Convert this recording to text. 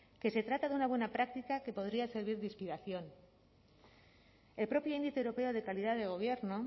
que se trata de una buena práctica que podría servir de inspiración el propio índice europeo de calidad de gobierno